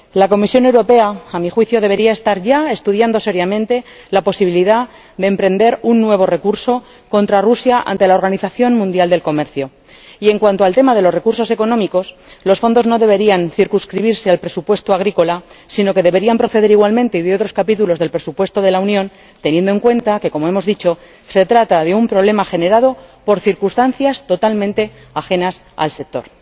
La Comisión Europea, a mi juicio, debería estar ya estudiando seriamente la posibilidad de emprender un nuevo recurso contra Rusia ante la Organización Mundial del Comercio, y en cuanto al tema de los recursos económicos, los fondos no deberían circunscribirse al presupuesto agrícola, sino que deberían proceder igualmente de otros capítulos del presupuesto de la Unión, teniendo en cuenta que, como hemos dicho, se trata de un problema generado por circunstancias totalmente ajenas al sector.